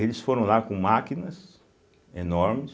Eles foram lá com máquinas enormes,